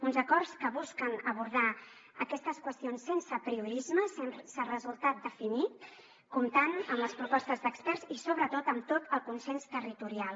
uns acords que busquen abordar aquestes qüestions sense apriorismes sense resultat definit comptant amb les propostes d’experts i sobretot amb tot el consens territorial